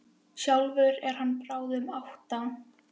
Sjálfur er hann á báðum áttum.